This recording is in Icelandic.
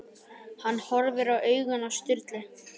Hann horfði í augun á Sturlu.